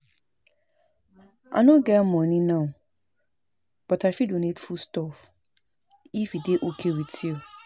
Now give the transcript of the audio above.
I no get money now but I fit donate food stuff if e dey okay with you